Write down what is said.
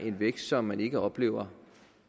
en vækst som man ikke oplever